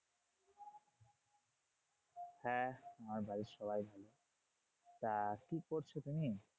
হ্যাঁ আমার বাড়ির সবাই, তা কি করছো তুমি?